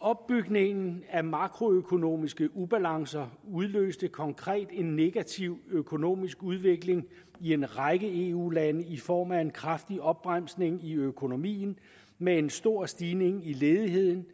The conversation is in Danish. opbygningen af makroøkonomiske ubalancer udløste konkret en negativ økonomisk udvikling i en række eu lande i form af en kraftig opbremsning i økonomien med en stor stigning i ledigheden